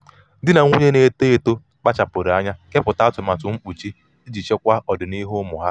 di na nwunye na-eto eto kpachapụrụ anya anya kepụta atụmatụ mkpuchi iji chekwaa ọdịniihu ụmụ ha.